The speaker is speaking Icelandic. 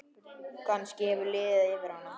Kannski hefur liðið yfir hana?